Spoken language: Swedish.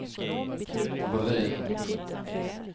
volym